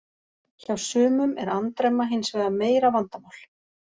Hjá sumum er andremma hins vegar meira vandamál.